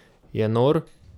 Je nor?